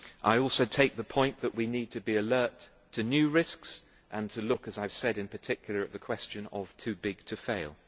I also take the point that we need to be alert to new risks and to look, as I said, in particular at the question of too big to fail'.